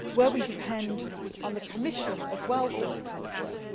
important. We depend on the Commission as well for this type